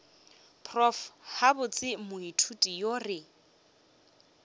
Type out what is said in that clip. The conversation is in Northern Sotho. prof gabotse moithuti yo re